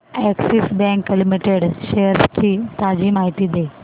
Axis bank limited shares ची ताजी माहिती दे